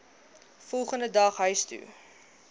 volgende dag huistoe